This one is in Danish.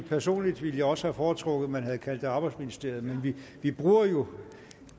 at personligt ville jeg også have foretrukket at man havde kaldt det arbejdsministeriet men vi bruger jo